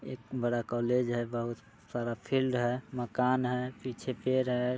एक बड़ा कॉलेज है बहुत सारा फील्ड है मकान है पीछे पेड़ है।